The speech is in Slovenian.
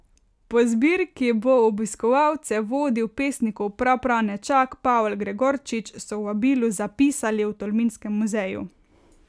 Po zbirki bo obiskovalce vodil pesnikov prapranečak Pavel Gregorčič, so v vabilu zapisali v Tolminskem muzeju.